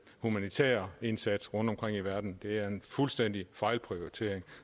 humanitære indsatser rundtomkring i verden det er en fuldstændig fejlprioritering